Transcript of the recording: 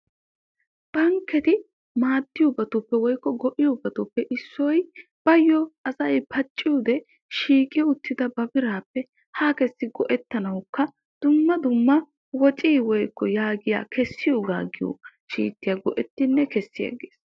Bankketti maaddiyabattuppe issoy asay bawu miishshay xayoppe sinttan shiiqidda miishshappe ekkiddi go'ettosonna.